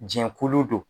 Jɛnkulu do